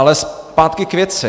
Ale zpátky k věci.